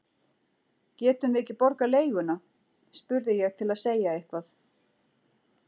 Getum við ekki borgað leiguna? spurði ég til að segja eitthvað.